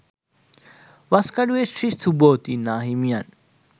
Waskaduwe Shri Subhuti නාහිමියන්